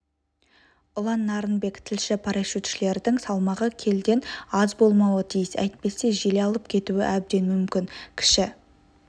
ұлан нарынбек тілші парашютшілердің салмағы келіден аз болмауы тиіс әйтпесе жел алып кетуі әбден мүмкін кіші